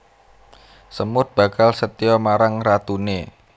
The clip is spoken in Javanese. Semut bakal setya marang ratuné